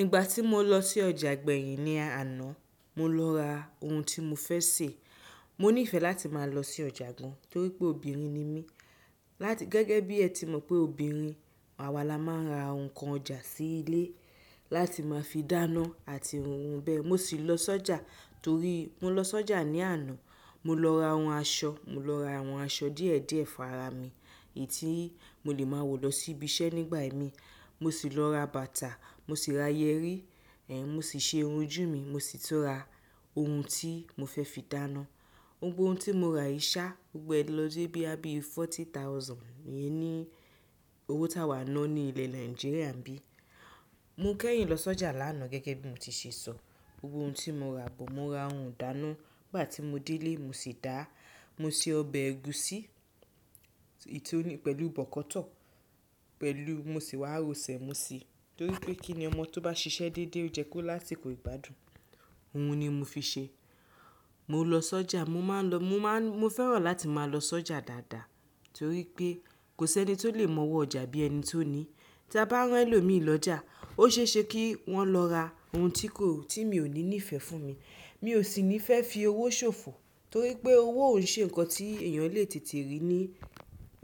Ígbà tí mo lọ sí ọjà gbẹ̀yìn ní aàná, mo lọ ra ohun tí mo fẹ́ sè. Mo nífẹ̀ẹ́ láti máa lọ sí ọjà gan, torí pé obìnrin ni mí. Láti gẹ́gẹ́ bí ẹ ti mọ̀ pé obìnrin, àwa la máa ń ra nǹkan ọjà sí ilé láti máa fi dáná àti ohun bẹ́ẹ̀. Mo sì lọ sọ́jà torí mo lọ sọ́jà ní àná, mo lọ ra àwọn aṣọ, mo lọ ra àwọn aṣọ díẹ̀ díẹ̀ fún ara mi èyí tí mo lè máa wọ̀ lọ sí ibi iṣẹ́ nígbà i mi Mo sì lọ ra bàtà, mo sì ra yẹrí, èn, mo sì ṣe irun ojú mi, mo sì tun ra ohun tí mo fẹ́ fi dáná. Ohun gbogbo tí mo ra yìí sá gbogbo ẹ lọ dé bí àbí forty thousand, iyen ní owó tá a wà náà ní ilẹ̀ Nàìjíríà ń bí. Mo kẹ́yìn lọ sọ́jà lánàá gẹ́gẹ́ bí mo ti ṣe sọ. Ohun gbogbo tí mo ra bọ̀, mo ra ohun ìdáná. Nígbà tí mo dé ilé mo sì dáa. Mo se ọbẹ̀ ẹ̀gúsí, èyí tí ó ní pẹ̀lú bọ̀kọ́tọ̀, pẹ̀lú mo sì wá ro sèé mó sí i, torí pé kí ni ọmọ tó bá ṣiṣẹ́ dédé ó yẹ kó lásikó ìgbádùn. Ohun ni mo fi ṣe. Mo lọ sọ́jà, mo máa ń lọ, mo máa ń, mo fẹ́ràn láti máa lọ sọ́jà dáadáa torí pé kò sẹ́ni tó lè mọ ọwọ́ ọjà bí ẹni tó ní. Tí a bá rán ẹlòmíí lọ ọjà, ó ṣe é ṣe kí wọ́n lọ ra ohun tí kò, tí mi ò ní nífẹ̀ẹ́ fún mi. Mi ò sì ní fẹ́ fi owó ṣòfò torí pé owó òn ṣe nǹkan tí èèyàn lè tètè rí ní